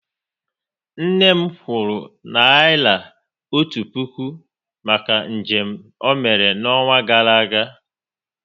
Nne m kwuru naira otu puku maka njem ọ mere n'ọnwa gara aga